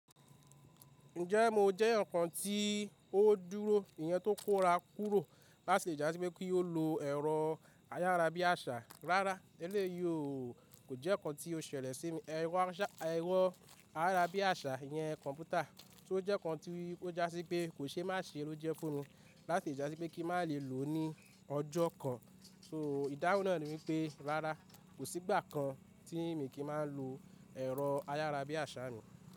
Ǹjẹ́ mo jẹ́ eeyan kan tí ó dúró, iyen tó kó ra kúrò láti le ja sí pé kí ó lo ẹ̀rọ ayárabíàṣá. Rárá, èléèyí kò jẹ́ ǹkan tí ó ṣẹlẹ̀ sí mi. Ẹ̀rọ ẹ̀rọ ayárabíàṣá iyẹn kọ̀mpútà, tí ó jẹ́ ǹkan tí ó jásí pé kò ṣe má ṣe ló jẹ́ fun mi láti le jà sí pé kí má lè lò ó ní ọjọ́ kan. So ìdáhùn náà ni wípé rárá, kò sí ìgbà kan tí mi kì í máa ń lo ẹ̀rọ ayárabíàṣá mi.